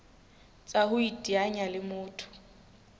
tsa ho iteanya le motho